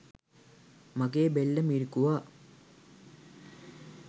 මගේ බෙල්ල මිරිකුවා.